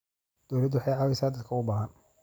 Dawladdu waxay caawisaa dadka u baahan.